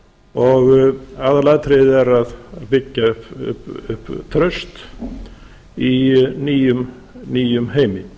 og aðalatriðið er að byggja upp traust í nýjum heimi